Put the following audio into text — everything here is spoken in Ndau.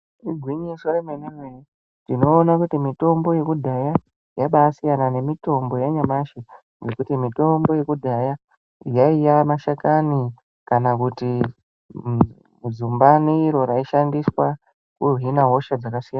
Igwinyiso remene-mene, tinoone kuti mitombo yekudhaya yabasiyana nemitombo yanyamashi, nekuti mitombo yekudhaya yaiva mashakani kana kuti zumbani iro raishandiswa kuhina hosha dzakasiyana.